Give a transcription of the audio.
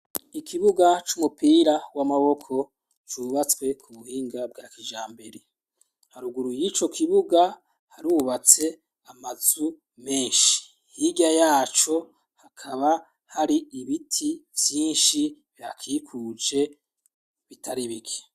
Ikibuga c'umupira w'amaboko cubatswe ku buhinga bwa kijambere, haruguru y'ico kibuga harubatse amazu menshi, hirya yaco hakaba hari ibiti vyinshi bihakikuje bitari bike.